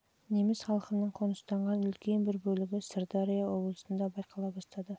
жылдан бастап неміс халқының қоныстанған үлкен бір бөлігі сырдария облысында байқала бастады